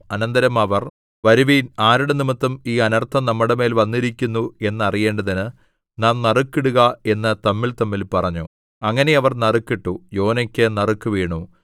അനന്തരം അവർ വരുവിൻ ആരുടെനിമിത്തം ഈ അനർത്ഥം നമ്മുടെമേൽ വന്നിരിക്കുന്നു എന്നറിയേണ്ടതിന് നാം നറുക്കിടുക എന്ന് തമ്മിൽതമ്മിൽ പറഞ്ഞു അങ്ങനെ അവർ നറുക്കിട്ടു യോനായ്ക്ക് നറുക്കു വീണു